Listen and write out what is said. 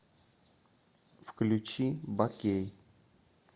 включи бакей